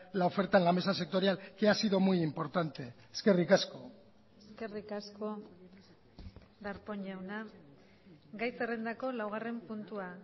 la oferta en la mesa sectorial que ha sido muy importante eskerrik asko eskerrik asko darpón jauna gai zerrendako laugarren puntua